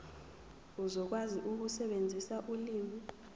uzokwazi ukusebenzisa ulimi